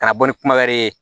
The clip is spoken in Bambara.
Ka na bɔ ni kuma wɛrɛ ye